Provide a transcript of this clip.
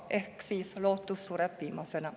Ehk siis lootus sureb viimasena.